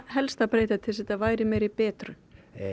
helst að breyta til þess að þetta væri meiri betrun